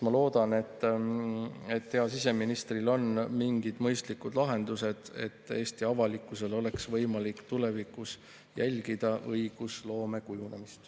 Ma loodan, et heal siseministril on mingid mõistlikud lahendused, kuidas Eesti avalikkusel oleks võimalik tulevikus jälgida õigusloome kujunemist.